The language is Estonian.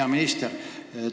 Hea minister!